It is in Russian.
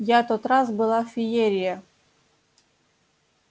я тот раз была феерия